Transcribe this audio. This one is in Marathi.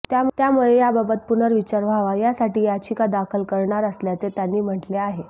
त्यामुळे याबाबत पुनर्विचार व्हावा यासाठी याचिका दाखल करणार असल्याचे त्यांनी म्हटले आहे